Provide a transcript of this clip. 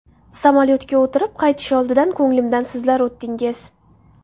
Samolyotga o‘tirib, qaytish oldidan ko‘nglimdan sizlar o‘tdingiz.